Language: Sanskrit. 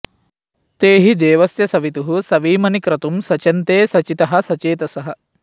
ते हि दे॒वस्य॑ सवि॒तुः सवी॑मनि॒ क्रतुं॒ सच॑न्ते स॒चितः॒ सचे॑तसः